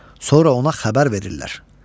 Sonra ona xəbər verirlər.